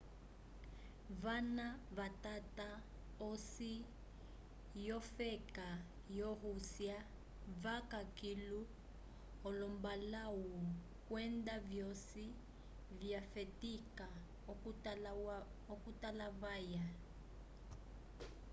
vana vatata osi yofeka yo-rússia vaca kilu olombalãwu kwenda vyosi vyafetika okutalavaya